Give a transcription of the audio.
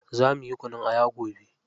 Za muyi kunun aya gobe.